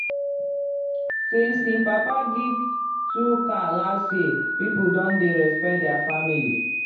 since him papa give two cow last year people don dey respect their family well.